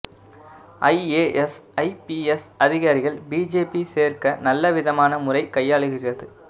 I A S I P S அதிகாரிகள் B J P சேர்க்க நல்ல விதமான முறை கையாளுகிறது